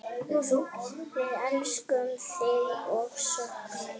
Við elskum þig og söknum.